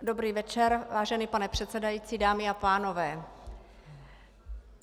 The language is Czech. Dobrý večer, vážený pane předsedající, dámy a pánové.